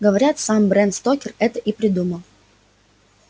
говорят сам брэм стокер это и придумал